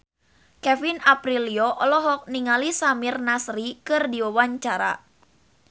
Kevin Aprilio olohok ningali Samir Nasri keur diwawancara